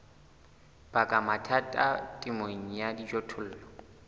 baka mathata temong ya dijothollo